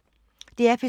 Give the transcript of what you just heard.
DR P2